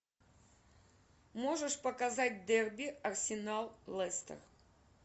можешь показать дерби арсенал лестер